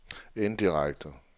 indirekte